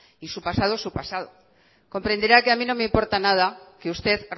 y su pasado es su pasado comprenderá que a mi no me importa nada que usted